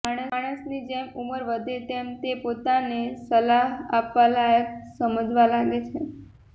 માણસની જેમ ઉંમર વધે તેમ એ પોતાને સલાહ આપવા માટે લાયક સમજવા લાગે છે